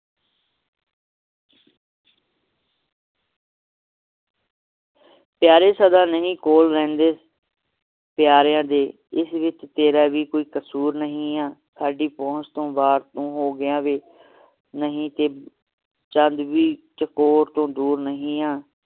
ਪਯਾਰੇ ਸਦਾ ਨਹੀਂ ਰਹਿੰਦੇ ਕੋਲ ਪਿਆਰਿਆਂ ਦੇ ਇਸ ਵਿਚ ਤੇਰਾ ਵੀ ਕੋਈ ਕਸੂਰ ਨਹੀਂ ਹੈ ਸਾਡੀ ਪਹੁੰਚ ਤੋਂ ਬਾਹਰ ਤੂੰ ਹੋਗਿਆ ਵੇ ਨਹੀਂ ਤਾ ਚੰਦ ਵੀ ਚਕੋਰ ਤੋਂ ਦੂਰ ਨਹੀਂ ਆ